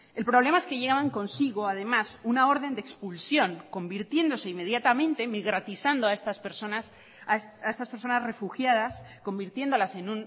el problema es que llevan consigo además una orden de expulsión convirtiéndose inmediatamente migratizando a estas personas a estas personas refugiadas convirtiéndolas en